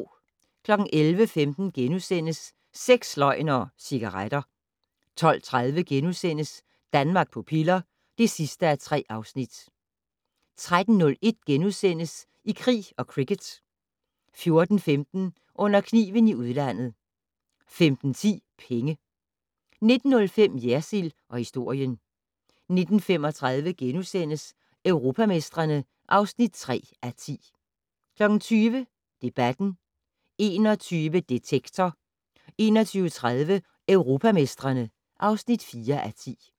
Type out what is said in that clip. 11:15: Sex, løgn og cigaretter * 12:30: Danmark på piller (3:3)* 13:01: I krig og cricket * 14:15: Under kniven i udlandet 15:10: Penge 19:05: Jersild & historien 19:35: Europamestrene (3:10)* 20:00: Debatten 21:00: Detektor 21:30: Europamestrene (4:10)